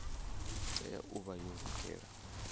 tea u vha yo lugela